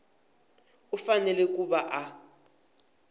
u fanele ku va a